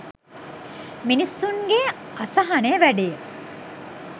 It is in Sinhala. මිනිස්සුන්ගේ අසහනය වැඩියි.